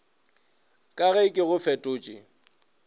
ka ge ke go fetotše